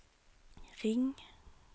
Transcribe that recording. ring